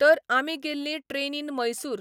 तर आमी गेल्लीं ट्रॅनीन मैयसूर.